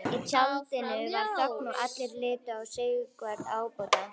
Í tjaldinu varð þögn og allir litu á Sigvarð ábóta.